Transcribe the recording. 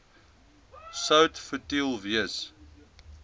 sout futiel wees